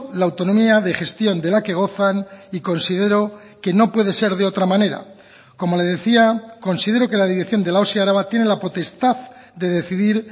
la autonomía de gestión de la que gozan y considero que no puede ser de otra manera como le decía considero que la dirección de la osi araba tiene la potestad de decidir